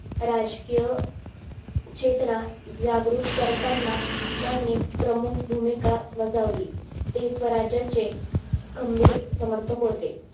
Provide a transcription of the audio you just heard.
राजकीय क्षेत्रा जागृत करताना त्यांनी प्रमुख भूमिका बजावली ते स्वराज्यचे खंभीर समर्थक होते